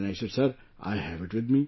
Then I said sir, I have it with me